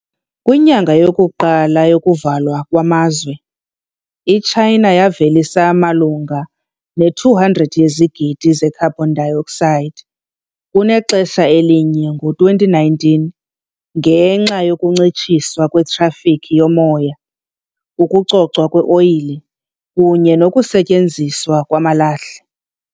Kwinyanga yokuqala yokuvalwa kwamazwe, iChina yavelisa malunga ne-200 yezigidi ze carbon dioxide kunexesha elinye ngo-2019 ngenxa yokuncitshiswa kwetrafikhi yomoya, ukucocwa kweoyile, kunye nokusetyenziswa kwamalahle.